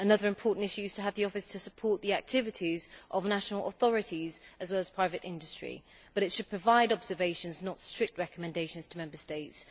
Another important issue is to have the Office support the activities of national authorities as well as private industry, but it should provide observations, not strict recommendations to Member States.